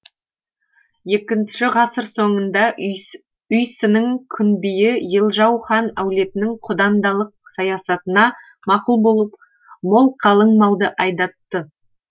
екінші ғасыр соңында үйсіннің күнбиі елжау хань әулетінің құдандалық саясатына мақұл болып мол қалыңмалды айдатты